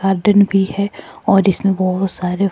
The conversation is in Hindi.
दिन भी है और इसमें बहुत सारे--